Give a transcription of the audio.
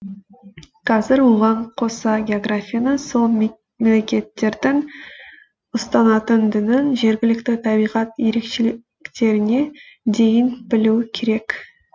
қазір оған қоса географияны сол мемлекеттердің ұстанатын дінін жергілікті табиғат ерекшеліктеріне дейін білу керек